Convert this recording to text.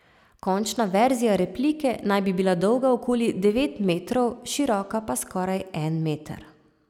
Končna verzija replike naj bi bila dolga okoli devet metrov, široka pa skoraj en meter.